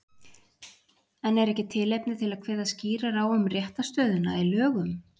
En er ekki tilefni til að kveða skýrar á um réttarstöðuna í lögum?